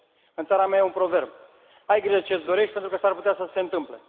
În țara mea e un proverb ai grijă ce ți dorești, pentru că s ar putea să ți se întâmple.